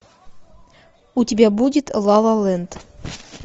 у тебя будет ла ла ленд